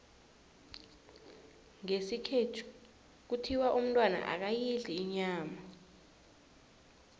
ngesikhethu kuthiwa umntwana akayidli inyama